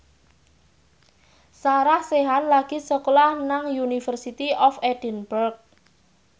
Sarah Sechan lagi sekolah nang University of Edinburgh